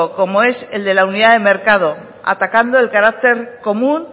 como es el de la unidad de mercado atacando el carácter común